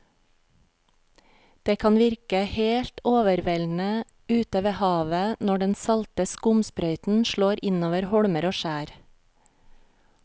Det kan virke helt overveldende ute ved havet når den salte skumsprøyten slår innover holmer og skjær.